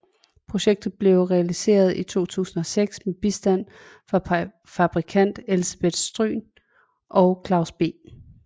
Projektet blev realiseret i 2006 med bistand fra fabrikant Elsebeth Stryhn og Claus B